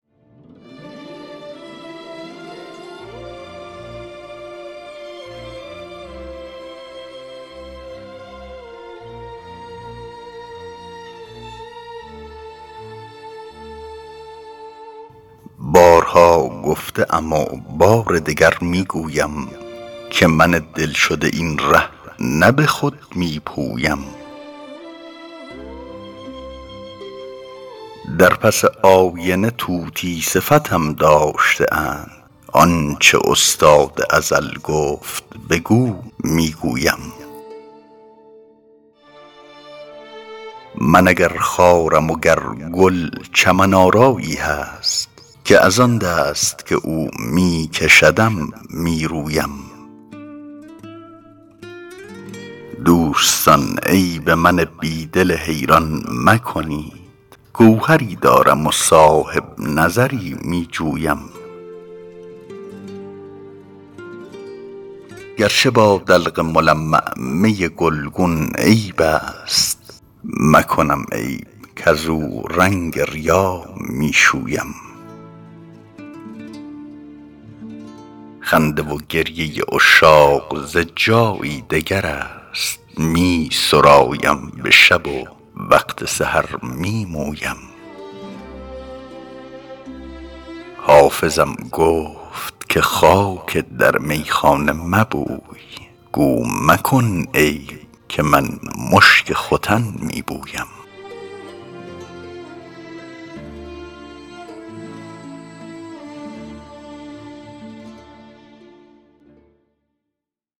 بارها گفته ام و بار دگر می گویم که من دل شده این ره نه به خود می پویم در پس آینه طوطی صفتم داشته اند آن چه استاد ازل گفت بگو می گویم من اگر خارم و گر گل چمن آرایی هست که از آن دست که او می کشدم می رویم دوستان عیب من بی دل حیران مکنید گوهری دارم و صاحب نظری می جویم گر چه با دلق ملمع می گلگون عیب است مکنم عیب کزو رنگ ریا می شویم خنده و گریه عشاق ز جایی دگر است می سرایم به شب و وقت سحر می مویم حافظم گفت که خاک در میخانه مبوی گو مکن عیب که من مشک ختن می بویم